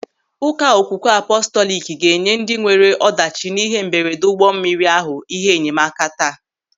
Ụka Okwukwe Apọstọliki ga-enye ndị nwere ọdachi n'ịhe mberede ụgbọ mmiri ahụ ịhe enyemaka taa.